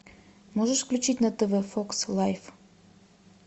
можешь включить на тв фокс лайф